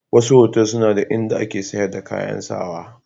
Wasu otal suna da in da ake sayar da kayan sawa.